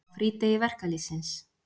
Á frídegi verkalýðsins.